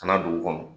Ka na dugu kɔnɔ